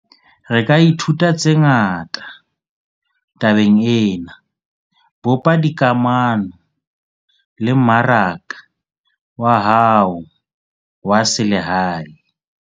Re ka ithuta tse ngata tabeng ena - bopa dikamano le mmaraka wa hao wa selehae.